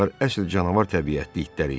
əsl canavar təbiətli itlər idi.